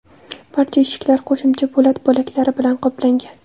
Barcha eshiklar qo‘shimcha po‘lat bo‘laklari bilan qoplangan.